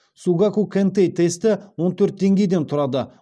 сугаку кэнтэй тесті он төрт деңгейден тұрады